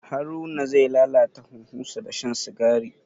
Haruna zai lalata huhunsa da shan sigari.